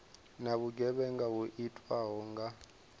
na vhugevhenga ho itwaho kha